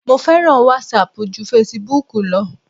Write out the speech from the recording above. Mo fẹ́ràn wásaàpù ju fesibúùkù lọ.